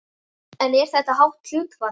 En er þetta hátt hlutfall?